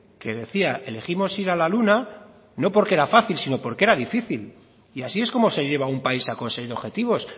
que decía elegimos ir a la luna no porque era fácil sino porque era difícil y así es como se lleva a un país a conseguir objetivos